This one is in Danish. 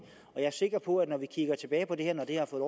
jeg er sikker på at når vi kigger tilbage på det her når det har fået